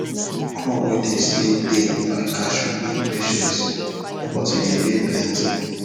crop wey dey stay tay like cashew need patiece but e dey bear plenty